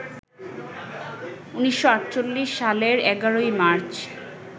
১৯৪৮ সালের ১১ই মার্চ